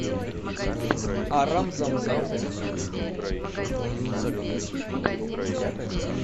арам зам зам